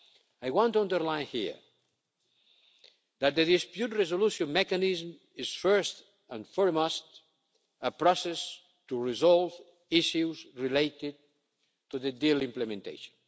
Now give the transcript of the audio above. steps. I want to underline here that the dispute resolution mechanism is, first and foremost, a process to resolve issues related to the deal's implementation.